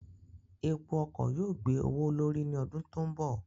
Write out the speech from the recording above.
Epo ọkọ̀ yóò gbé owó l'órí ní ọdún tó ń bọ̀.